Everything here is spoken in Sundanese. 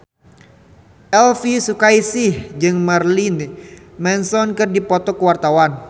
Elvy Sukaesih jeung Marilyn Manson keur dipoto ku wartawan